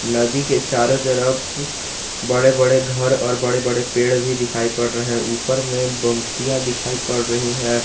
नदी के चारों तरफ बड़े बड़े घर और बड़े बड़े पेड़ भी दिखाई पड़ रहे हैं ऊपर में पंक्तियां दिखाई पड़ रही है।